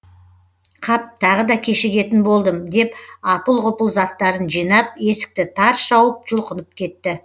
қап тағы да кешігетін болдым деп апыл ғұпыл заттарын жинап есікті тарс жауып жұлқынып кетті